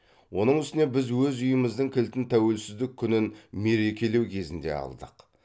оның үстіне біз өз үйіміздің кілтін тәуелсіздік күнін мерекелеу кезінде алдық